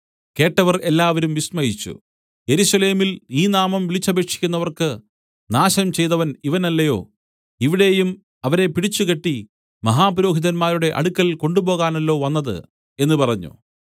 കേട്ടവർ എല്ലാവരും വിസ്മയിച്ചു യെരൂശലേമിൽ ഈ നാമം വിളിച്ചപേക്ഷിക്കുന്നവർക്ക് നാശം ചെയ്തവൻ ഇവനല്ലയോ ഇവിടെയും അവരെ പിടിച്ചുകെട്ടി മഹാപുരോഹിതന്മാരുടെ അടുക്കൽ കൊണ്ടുപോകുവാനല്ലോ വന്നത് എന്നു പറഞ്ഞു